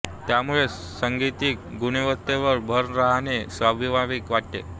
त्यामुळे सांगीतिक गुणवत्तेवर भर न राहणे स्वाभाविक वाटते